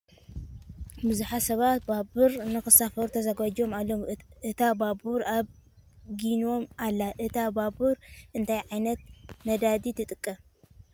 ብዙሓት ሰባት ባቡር ን ክሳፈሩ ተዘጋጅዮም ኣለዉ ። እታ ባቡር ኣብ ጊኖም ኣላ ። እታ ባቡር እንታይ ዕይነት ነዳዲ ትጥቀም ?